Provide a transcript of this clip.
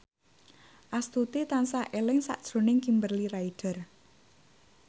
Astuti tansah eling sakjroning Kimberly Ryder